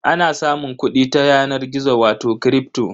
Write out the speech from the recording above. Ana samun kuɗi ta yanar gizo wato kripto.